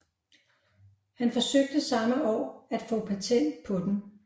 Han forsøgte samme år at få patent på den